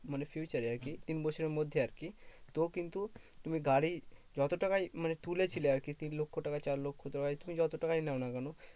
মানে future এ আরকি তিন বছরের মধ্যে আরকি। তো কিন্তু তুমি গাড়ি যত তাকে মানে তুলেছিলে আরকি তিন লক্ষ্য টাকায় চার লক্ষ্য টাকায় তুমি যত টাকায় নাও না কেন?